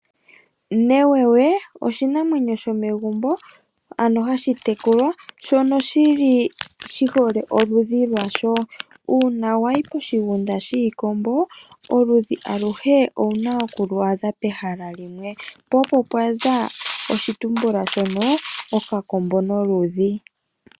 Newewe oshinamwenyo shomegumbo, ano hashi tekulwa. Oshi hole oludhi lwasho. Uuna wa yi koshigunda shiikombo oludhi aluhe owu na oku lu adha pehala limwe. Po opo pwaza oshitumbula okakombo noludhi.